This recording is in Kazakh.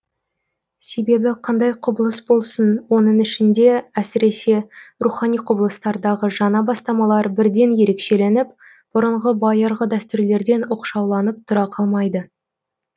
себебі қандай құбылыс болсын оның ішінде әсіресе рухани құбылыстардағы жаңа бастамалар бірден ерекшеленіп бұрынғы байырғы дәстүрлерден оқшауланып тұра қалмайды